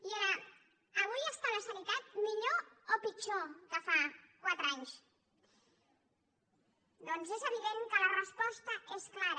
i era avui està la sanitat millor o pitjor que fa quatre anys doncs és evident que la resposta és clara